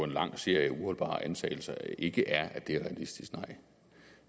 en lang serie af uholdbare antagelser ikke er at det er realistisk nej